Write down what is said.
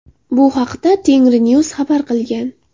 Bu haqda Tengrinews xabar qilgan .